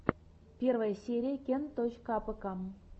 первая серия кент точка апэка